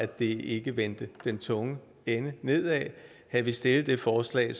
det ikke vendte den tunge ende nedad havde vi stillet det forslag